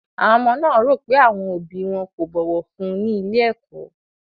Àwọn ọmọ náà rò pé àwọn òbí wọn kò bọ̀wọ̀ fún un ní ilé-ẹ̀kọ́.